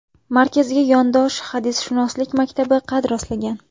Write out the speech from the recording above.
Markazga yondosh hadisshunoslik maktabi qad rostlagan.